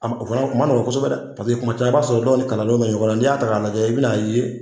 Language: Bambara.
o fana a kun ma nɔgɔ kosɛbɛ dɛ paseke kuma caman i b'a sɔrɔ dɔw ni kalandenw bɛ ɲɔgɔn na, n'i y'a ta ka lajɛ i bina ye